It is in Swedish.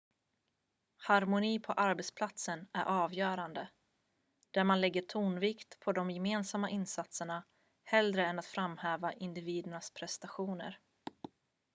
harmoni på arbetsplatsen är avgörande där man lägger tonvikten på de gemensamma insatserna hellre än att framhäva individernas prestationer